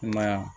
I ma ye wa